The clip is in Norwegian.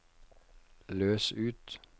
løs ut